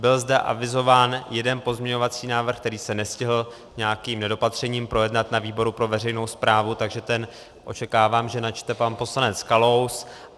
Byl zde avizován jeden pozměňovací návrh, který se nestihl nějakým nedopatřením projednat na výboru pro veřejnou správu, takže ten očekávám, že načte pan poslanec Kalous.